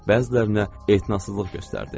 Bəzilərinə etinasızlıq göstərdi.